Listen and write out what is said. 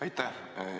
Aitäh!